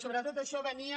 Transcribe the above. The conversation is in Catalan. sobretot això venia